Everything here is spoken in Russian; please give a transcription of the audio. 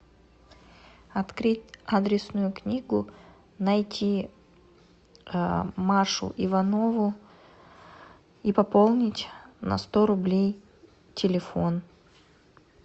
открыть адресную книгу найти машу иванову и пополнить на сто рублей телефон